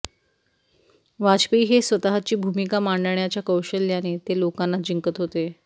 वाजपेयी हे स्वतःची भूमिका मांडण्याच्या कौशल्याने ते लोकांना जिंकत होते